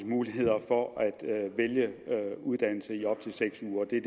muligheder for at vælge uddannelse i op til seks uger det er